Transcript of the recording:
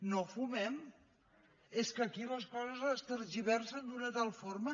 no fumem és que aquí les coses es tergiversen d’una tal forma